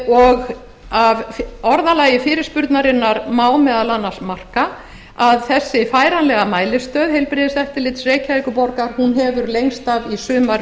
og af orðalagi fyrirspurnarinnar má meðal annars marka að þessi færanlega mælistöð heilbrigðiseftirlits reykjavíkurborgar hefur lengst af í sumar